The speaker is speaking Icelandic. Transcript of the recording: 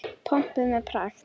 Pompuð með pragt.